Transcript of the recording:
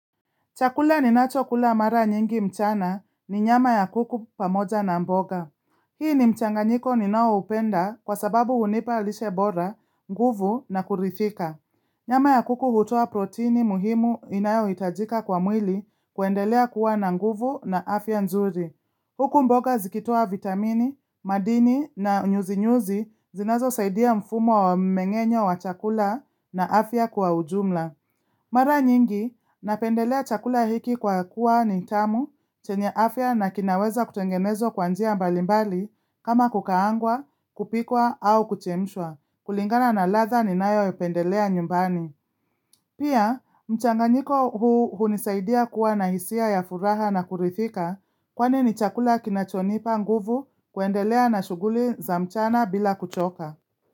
Chakula ninachokula mara nyingi mchana ni nyama ya kuku pamoja na mboga. Hii ni mchanganyiko ninaoupenda kwa sababu hunipa lishe bora, nguvu na kurithika. Nyama ya kuku hutoa protini muhimu inayohitajika kwa mwili kuendelea kuwa na nguvu na afya nzuri. Huku mboga zikitoa vitamini, madini na nyuzinyuzi zinazosaidia mfumo wa mmeng'enyo wa chakula na afya kwa ujumla. Mara nyingi, napendelea chakula hiki kwa kuwa ni tamu, chenye afya na kinaweza kutengenezwa kwa njia mbalimbali kama kukaangwa, kupikwa au kuchemshwa. Kulingana na ladha ninayoipendelea nyumbani. Pia, mchanganyiko huu hunisaidia kuwa na hisia ya furaha na kurithika kwani ni chakula kinachonipa nguvu kuendelea na shughuli za mchana bila kuchoka.